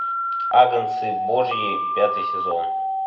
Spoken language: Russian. агнцы божьи пятый сезон